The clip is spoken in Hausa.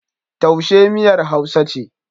Taushe miyar Hausa ce.